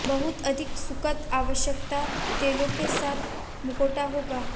बहुत अधिक सुखद आवश्यक तेलों के साथ मुखौटा होगा